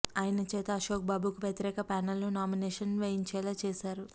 ఆయన చేత అశోక్ బాబుకు వ్యతిరేక ప్యానెల్ ను నామినేషన్ వేయించేలా చేశారు